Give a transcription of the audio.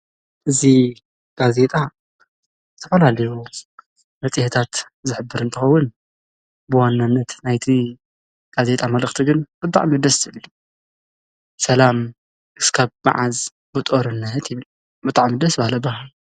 እዚ ጋዜጣ ዝተፈላለዩ መፅሄታት ዝሕብር እንትኸውን ብዋናንነት ናይቲ ጋዜጣ መልእክቲ ግን ብጣዕሚ ደስ ዝብል እዩ። ሰላም እስካብ መዓዝ ብጦርነት ይብል። ብጣዕሚ ደስ በሃሊ ኣበሃህላ፣